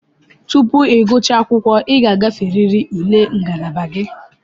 Tupu ị gụchaa akwụkwọ, ị ga-agaferịrị ule ngalaba gị.